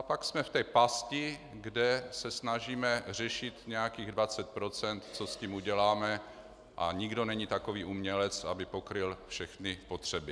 A pak jsme v té pasti, kde se snažíme řešit nějakých 20 %, co s tím uděláme, a nikdo není takový umělec, aby pokryl všechny potřeby.